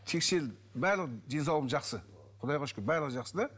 тексерілдім барлығы денсаулығым жақсы құдайға шүкір барлығы жақсы да